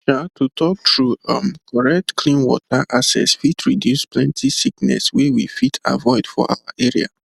um to talk true um correct clean water access fit reduce plenty sickness wey we fit avoid for our area